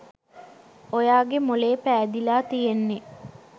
ඔයාගේ මොළේ පෑදිලා තියෙන්නෙ.